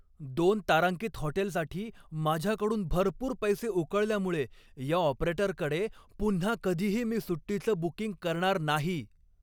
दोन तारांकित हॉटेलसाठी माझ्याकडून भरपूर पैसे उकळल्यामुळे या ऑपरेटरकडे पुन्हा कधीही मी सुट्टीचं बुकिंग करणार नाही.